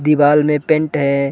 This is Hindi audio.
दीवाल में पेन्ट हैं ।